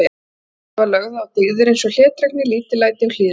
Áhersla var lögð á dyggðir eins og hlédrægni, lítillæti og hlýðni.